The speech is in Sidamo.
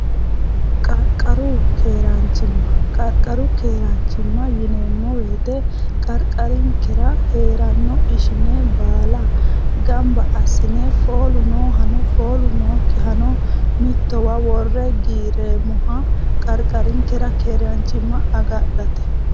qarqaru keeraanchimma qarqaru keeraanchimma yineemmo weete qarqarinkira hee'ranno ishine baala gamba assine foolu noo hano foolu nookki hano mittowa worre giireemmoha qarqarinkera keeraanchimma agadhate